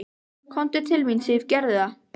Komdu til mín, Sif, gerðu það.